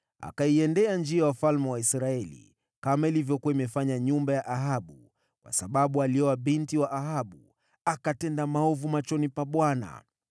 Akaenenda katika njia za wafalme wa Israeli, kama nyumba ya Ahabu ilivyokuwa imefanya, kwa kuwa alimwoa binti wa Ahabu. Akatenda maovu machoni pa Bwana .